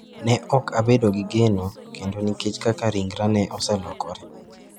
Ne ok abedo gi geno kendo nikech kaka ringra ne oselokore.